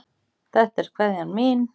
Þetta er kveðjan mín.